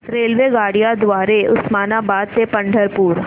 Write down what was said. रेल्वेगाड्यां द्वारे उस्मानाबाद ते पंढरपूर